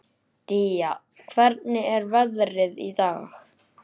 Día, hvernig er veðrið í dag?